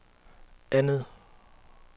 andet